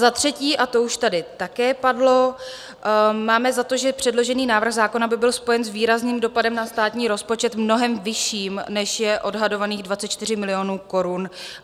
Za třetí - a to už tady také padlo - máme za to, že předložený návrh zákon by byl spojen s výrazným dopadem na státní rozpočet, mnohem vyšším, než je odhadovaných 24 milionů korun.